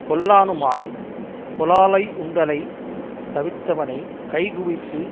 கொல்லானுமாய்ப் புலாலையுண்டலையுந் தவிர்த்தவனைக் கை குவித்து